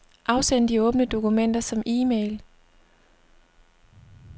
Afsend de åbne dokumenter som e-mail.